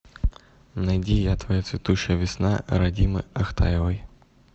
найди я твоя цветущая весна радимы ахтаевой